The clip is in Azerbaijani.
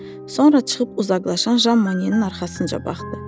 Sonra çıxıb uzaqlaşan Jan Monyenin arxasınca baxdı.